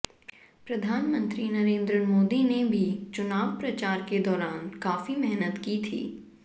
प्रधानमंत्री नरेंद्र मोदी ने भी चुनाव प्रचार के दौरान काफी मेहनत की थी